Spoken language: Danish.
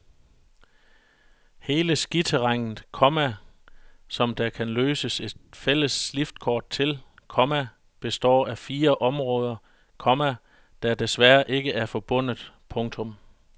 Hele skiterrænet, komma som der kan løses et fælles liftkort til, komma består af fire områder, komma der desværre ikke er forbundet. punktum